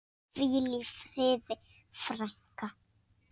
Hvíl í friði, frænka.